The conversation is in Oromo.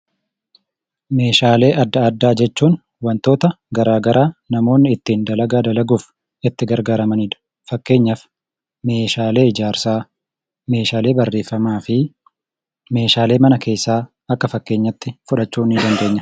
Meeshaalee addaa addaa jechuun wantoota garaagaraa namoonni ittiin dalagaa dalaguuf itti gargaaramanidha. Fakkeenyaaf meeshaalee ijaarsaa, meeshaalee barreeffamaa fi meeshaalee mana keessaa akka fakkeenyaatti fudhachuu ni dandeenya.